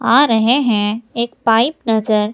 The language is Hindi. आ रहें हैं एक पाइप नजर--